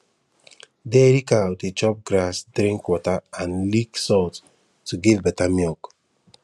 dairy cow dey chop grass drink water and lick salt to give better milk